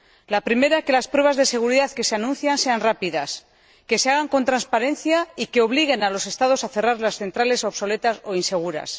La primera, que las pruebas de seguridad que se anuncian sean rápidas, que se hagan con transparencia y que obliguen a los Estados a cerrar las centrales obsoletas o inseguras.